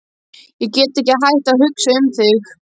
Ég get ekki hætt að hugsa um þig.